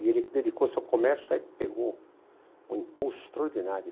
E ele dedicou-se ao comércio e aí pegou um impulso extraordinário.